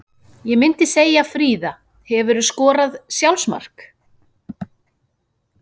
Ég myndi segja Fríða Hefurðu skorað sjálfsmark?